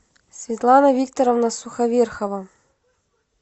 светлана викторовна суховерхова